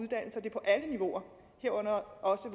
på alle niveauer herunder også